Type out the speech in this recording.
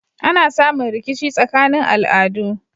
Ana samun rikici tsakanin al'adu